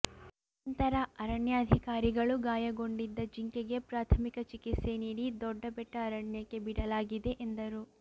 ನಂತರ ಅರಣ್ಯಾಧಿಕಾರಿಗಳು ಗಾಯಗೊಂಡಿದ್ದ ಜಿಂಕೆಗೆ ಪ್ರಾಥಮಿಕ ಚಿಕಿತ್ಸೆ ನೀಡಿ ದೊಡ್ಡ ಬೆಟ್ಟ ಅರಣ್ಯಕ್ಕೆ ಬಿಡಲಾಗಿದೆ ಎಂದರು